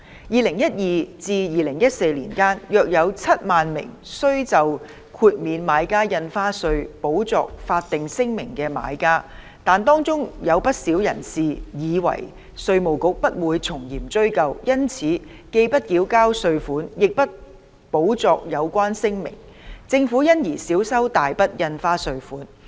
2012至2014年間，約有7萬名須就豁免買家印花稅補作法定聲明的買家，但當中有不少人士以為稅務局不會從嚴追究，因此既不繳交稅款，亦不補作有關聲明，政府因而少收大筆印花稅稅款。